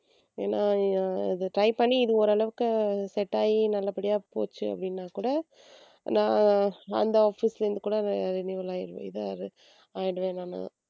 ஏன்னா அஹ் இது try பண்ணி இது ஒரு அளவுக்கு set ஆயி நல்லபடியா போச்சு அப்படின்னா கூட நான் அந்த office ல இருந்து கூட இதா ஆயிடுவேன் நானு